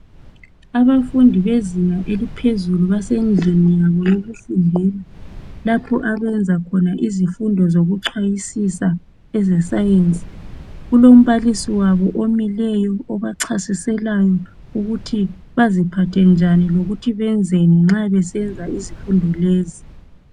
Abafundi bezinga eliphezulu basendlini yabo yokufundela, lapho abenza khona izifundo zikuchwayisisa eze "Science". Kulombalisi wabo omileyo obachasiselayo ukuthi baziphathe njani lokuthi benzeni nxa besenza izifundo lezi.